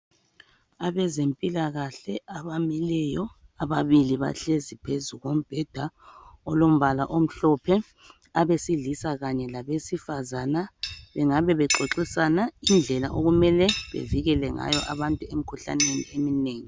Abezempilakahle abamileyo . Ababili bahlezi phezu kombheda olombala omhlophe . Abesilisa kanye labesi fazana bengabe bexoxisana indlela okumele bevikele ngayo abantu emkhuhlaneni eminengi .